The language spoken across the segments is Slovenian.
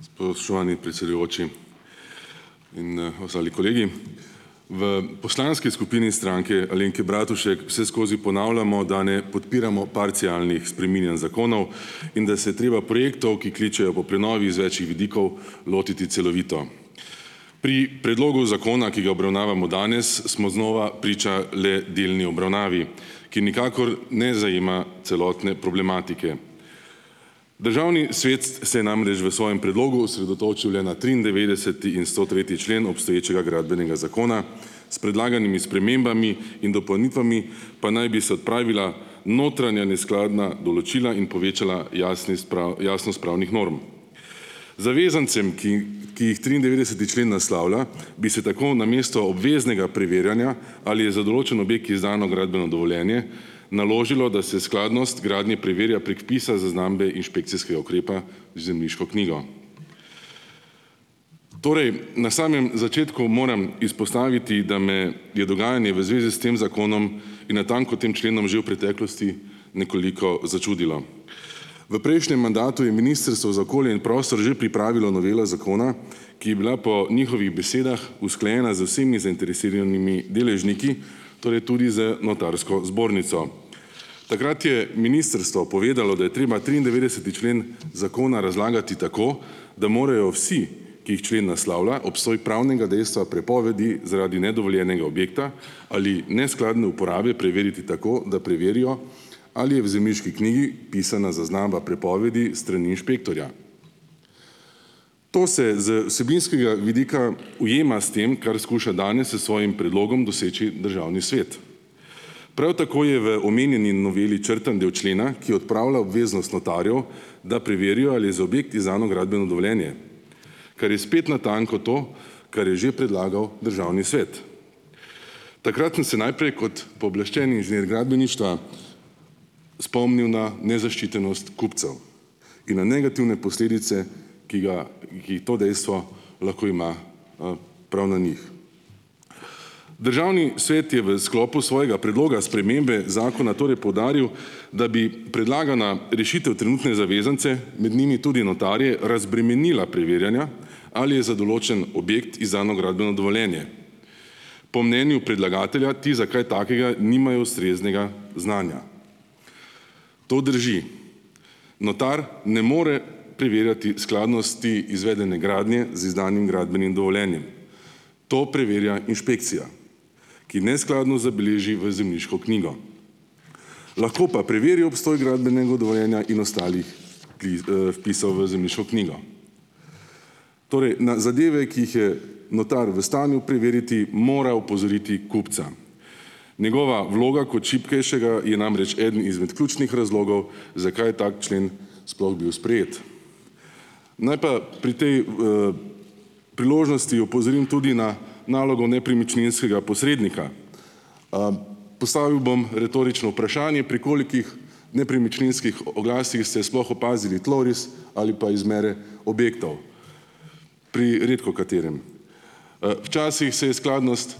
Spoštovani predsedujoči in, ostali kolegi. V poslanski skupini Stranke Alenke Bratušek vseskozi ponavljamo, da ne podpiramo parcialnih spreminjanj zakonov in da se je treba projektov, ki kličejo po prenovi iz več vidikov, lotiti celovito. Pri predlogu zakona, ki ga obravnavamo danes, smo znova priča le delni obravnavi, ki nikakor ne zajema celotne problematike. Državni svet s se je namreč v svojem predlogu osredotočil le na triindevetdeseti in stotretji člen obstoječega Gradbenega zakona, s predlaganimi spremembami in dopolnitvami pa naj bi se odpravila notranja neskladna določila in povečala jasnost jasnost pravnih norm. Zavezancem, ki ki jih triindevetdeseti člen naslavlja, bi se tako namesto obveznega preverjanja, ali je za določen objekt izdano gradbeno dovoljenje, naložilo, da se skladnost gradnje preverja prek vpisa zaznambe inšpekcijskega ukrepa v zemljiško knjigo. Torej na samem začetku moram izpostaviti, da me je dogajanje v zvezi s tem zakonom in natanko tem členom že v preteklosti nekoliko začudilo. V prejšnjem mandatu je Ministrstvo za okolje in prostor že pripravilo novelo zakona, ki je bila po njihovih besedah usklajena z vsemi zainteresiranimi deležniki, torej tudi z notarsko zbornico. Takrat je ministrstvo povedalo, da je treba triindevetdeseti člen zakona razlagati tako, da morajo vsi, ki jih člen naslavlja, obstoj pravnega dejstva prepovedi zaradi nedovoljenega objekta ali neskladne uporabe preveriti tako, da preverijo, ali je v zemljiški knjigi pisana zaznamba prepovedi s strani inšpektorja. To se z vsebinskega vidika ujema s tem, kar skuša danes, s svojim predlogom doseči državni svet. Prav tako je v omenjeni noveli črtan del člena, ki odpravlja obveznost notarjev, da preverijo, ali je za objekt izdano gradbeno dovoljenje, kar je spet natanko to, kar je že predlagal državni svet. Takrat sem se najprej kot pooblaščeni inženir gradbeništva spomnil na nezaščitenost kupcev in na negativne posledice, ki ga, ki jih to dejstvo lahko ima, prav na njih. Državni svet je v sklopu svojega predloga spremembe zakona torej poudaril, da bi predlagana rešitev trenutne zavezance, med njimi tudi notarje, razbremenila preverjanja, ali je za določen objekt izdano gradbeno dovoljenje. Po mnenju predlagatelja ti za kaj takega nimajo ustreznega znanja. To drži. Notar ne more preverjati skladnosti izvedene gradnje z izdanim gradbenim dovoljenjem. To preverja inšpekcija, ki neskladnost zabeleži v zemljiško knjigo. Lahko pa preveri obstoj gradbenega dovoljenja in ostalih vpisov v zemljiško knjigo. Torej, na zadeve, ki jih je notar v stanju preveriti, mora opozoriti kupca. Njegova vloga kot šibkejšega je namreč eden izmed ključnih razlogov, zakaj tako člen sploh bil sprejet. Naj pa pri tej, priložnosti opozorim tudi na nalogo nepremičninskega posrednika. Postavil bom retorično vprašanje. Pri kolikih nepremičninskih oglasih ste sploh opazili tloris ali pa izmere objektov? Pri redkokaterem. včasih se je skladnost,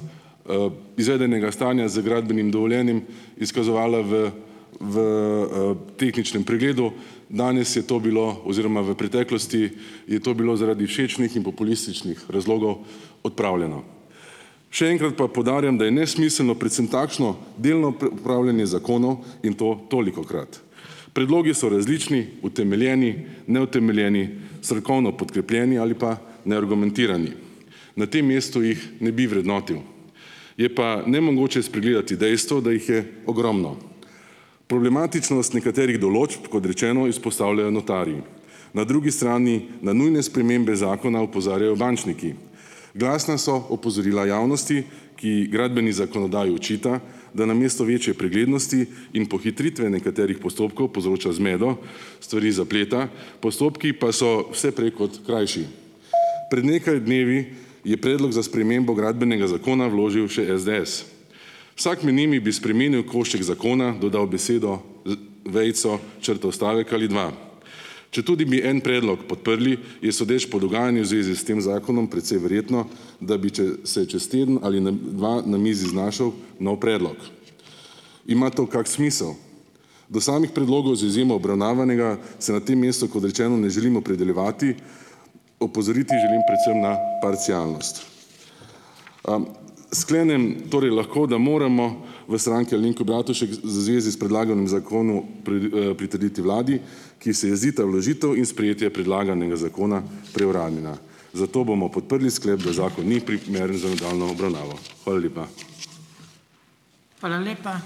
izvedenega stanja z gradbenim dovoljenjem izkazovala v v, tehničnem pregledu. Danes je to bilo oziroma v preteklosti je to bilo zaradi všečnih in populističnih razlogov odpravljeno. Še enkrat pa poudarjam, da je nesmiselno predvsem takšno delno preupravljanje zakonov in to tolikokrat. Predlogi so različni, utemeljeni, neutemeljeni, strokovno podkrepljeni ali pa neargumentirani. Na tem mestu jih ne bi vrednotil, je pa nemogoče spregledati dejstvo, da jih je ogromno. Problematičnost nekaterih določb, kod rečeno, izpostavljajo notarji. Na drugi strani, na nujne spremembe zakona opozarjajo bančniki. Glasna so opozorila javnosti, ki gradbeni zakonodaji očita, da namesto večje preglednosti in pohitritve nekaterih postopkov povzroča zmedo, stvari zapleta, postopki pa so vse prej kot krajši. Pred nekaj dnevi, je Predlog za spremembo Gradbenega zakona vložil še SDS. Vsak med njimi bi spremenil košček zakona, dodal besedo, vejico, črto, stavek ali dva. Četudi bi en predlog podprli, je sodeč po dogajanju zvezi s tem zakonom precej verjetno, da bi se čez teden ali na, dva na mizi znašel nov predlog. Ima to kak smisel? Do samih predlogov, z izjemo obravnavanega, se na tem mestu, kot rečeno, ne želim opredeljevati, opozoriti želim predvsem na parcialnost. Sklenem torej lahko, da moramo v Stranki Alenke Bratušek z zvezi s predlaganim zakonom pritrditi vladi, ki se jih zdita vložitev in sprejetje predlaganega zakona preuranjena, zato bomo podprli sklep, da zakon ni primeren za nadaljnjo obravnavo. Hvala lepa.